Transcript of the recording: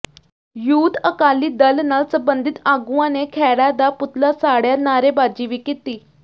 youth Akali Dal ਨਾਲ ਸਬੰਧਿਤ ਆਗੂਆਂ ਨੇ ਖਹਿਰਾ ਦਾ ਪੁਤਲਾ ਸਾੜਿਆ ਨਾਅਰੇਬਾਜ਼ੀ ਵੀ ਕੀਤੀ